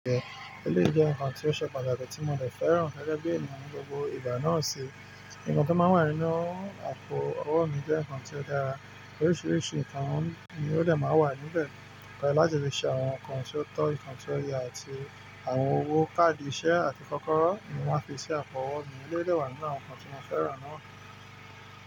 Eléyi jẹ nǹkan tí ó ṣe pàtàkì tí mo dẹ̀ fẹ́ràn gẹ́gẹ́ bí ènìyàn ní gbogbo ìgbà náà ṣi ìnǹkan to máa ń wà nínú àpò owó mi jẹ́ ǹkan tí ó dára. Oríṣìíríṣìí ǹkan ni ó dẹ̀ máa ń wà níbẹ̀. Mẹ́ láti lè ṣe àwọn ǹkan tí ó tọ́, ǹkan tí ó ya àti àwọn owó káàdì ìṣe àti kọ́kọ́rọ́ ni wọ́n fi ṣe àpò owó mi. Ilé dẹ̀ wà nínú àwọn ǹkan tí mo fẹ́ràn náà.